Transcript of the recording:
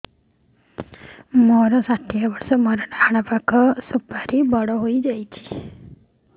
ମୋର ଷାଠିଏ ବର୍ଷ ମୋର ଡାହାଣ ପାଖ ସୁପାରୀ ବଡ ହୈ ଯାଇଛ